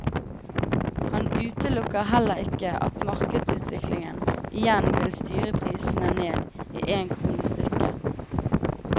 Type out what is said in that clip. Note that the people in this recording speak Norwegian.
Han utelukker heller ikke at markedsutviklingen igjen vil styre prisene ned i én krone stykket.